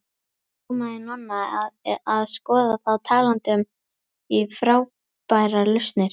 Rámaði í Nonna að skoða þá talandi um frábærar lausnir.